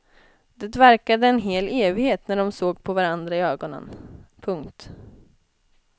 Det verkade en hel evighet när de såg på varandra i ögonen. punkt